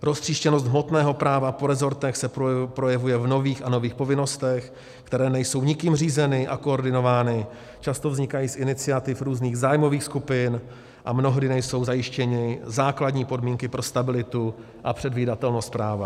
Roztříštěnost hmotného práva po rezortech se projevuje v nových a nových povinnostech, které nejsou nikým řízeny a koordinovány, často vznikají z iniciativ různých zájmových skupin a mnohdy nejsou zajištěny základní podmínky pro stabilitu a předvídatelnost práva.